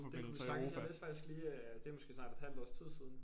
Det kunne vi sagtens jeg læste faktisk lige det er måske snart et halvt års tid siden